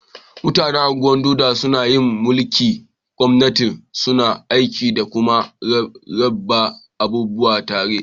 Mutanen Ungwan-Doma sunna yin mulki'n kwaminisanci. Suna aiki da kuma rabba abubuwa tare.